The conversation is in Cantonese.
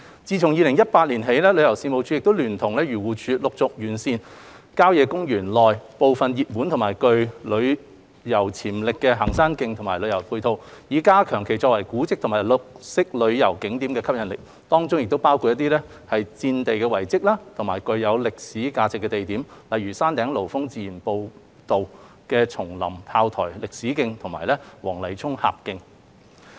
自2018年起，旅遊事務署亦聯同漁農自然護理署陸續完善郊野公園內部分熱門及具旅遊潛力的行山徑和旅遊配套，以加強其作為古蹟及綠色旅遊景點的吸引力，當中亦包括一些戰地遺蹟及具歷史價值的地點，例如山頂爐峰自然步道的松林砲台歷史徑和黃泥涌峽徑。